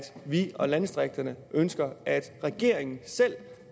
vi og landdistrikterne ønsker at regeringen selv